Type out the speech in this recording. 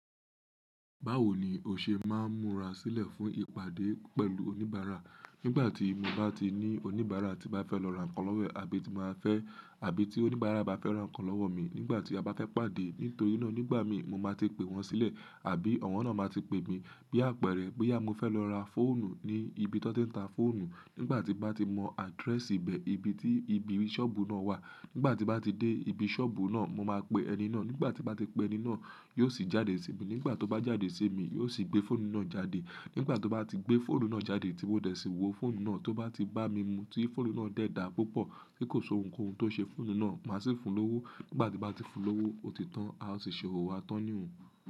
Báwo ni o ṣe máa ń múra sílẹ̀ fún ìpàdé pẹ̀lú oníbàárà? Nígbà tí mo bá ti ní oníbàárà tí n bá fẹ́ lọ ra nǹkan lọ́wọ́ mi, àbí tí mo bá fẹ́, àbí tí oníbàárà bá fẹ́ ra nǹkan lọ́wọ́ mi nígbà tí a bá fẹ́ pàdé. Nítorí náà nígbà mí mo máa ti pe wọ́n sílẹ̀, àbí ọ̀wọ́n náà máa ti pe mí. Bí àpẹẹrẹ, boyà mo fẹ́ lọ ra fóònù ní ibi tó ti ń ta fóònù. Nígbà tí mo bá ti mọ address bẹ, ibi tí ibi ṣọ́ọ̀bù náà wà. Nígbà tí mo bá ti dé ibi ṣọ́ọ̀bù náà, mo máa pe ẹni náà. Nígbà tí mo bá ti pe ẹni náà, yóò sì jáde sí mi. Nígbà tó bá jáde sí mi, yóò sì gbé fóònù náà jáde. Nígbà tó bá ti gbé fóònù náà jáde, tí mo dẹ̀ sí wo fóònù náà, tó bá ti bá mi mu tí fóònù náà dẹ́ da púpọ̀, kíkò ṣohunkóhun tó n ṣe fóònù náà, màá sì fun lówo. Nígbà tí mo bá ti fun lówo, ó ti tán, a ó sì ṣe owo wa tán nihun.